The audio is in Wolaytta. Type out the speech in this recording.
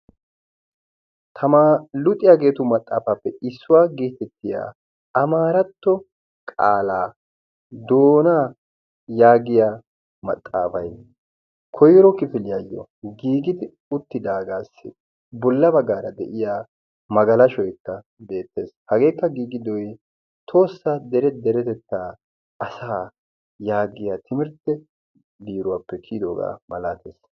tamaariya luxiyaageetu maxaafaappe issuwaa giitettiya amaaratto qaalaa doona yaagiya maxaafai koiro kifiliyaayyo giigidi uttidaagaassi bollaba gaara de7iya magalashoikka beettees hageekka giigidoyi toossaa dere deretettaa asa' yaaggiya timirtte biiruwaappe kiyidoogaa malaatees